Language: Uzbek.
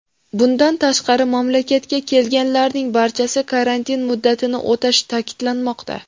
Bundan tashqari, mamlakatga kelganlarning barchasi karantin muddatini o‘tashi ta’kidlanmoqda.